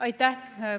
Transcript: Aitäh!